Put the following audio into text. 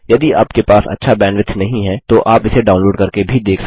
यदि आपके पास अच्छा बैंडविथ नहीं है तो आप इसे डाउनलोड करके भी देख सकते हैं